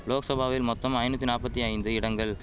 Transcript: லோக்சபாவில் மொத்தம் ஐநூத்தி நாப்பத்தி ஐந்து இடங்கள்